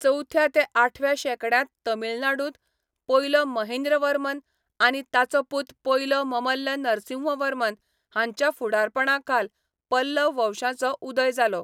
चवथ्या ते आठव्या शेंकड्यांत तमिळनाडूंत पयलो महेंद्रवर्मन आनी ताचो पूत पयलो ममल्ल नरसिंहवर्मन हांच्या फुडारपणाखाल पल्लव वंशाचो उदय जालो.